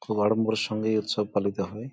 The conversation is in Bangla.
খুব আড়ম্বরের সঙ্গে এই উৎসব পালিত হয়।